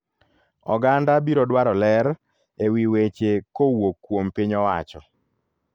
Oganda biro dwaro ler ewi weche kowuok kuom piny owacho.